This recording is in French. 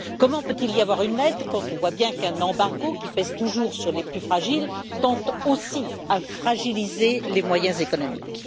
Comment peut il y avoir une aide quand on voit bien qu'un embargo, qui pèse toujours sur les plus fragiles, tend aussi à fragiliser les moyens économiques?